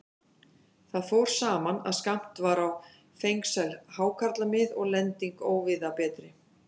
Þar fór saman, að skammt var á fengsæl hákarlamið og lending óvíða betri.